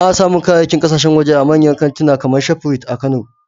Ana samun kayayyakin kasashen waje a manyan kantika kamar Shafrit a Kano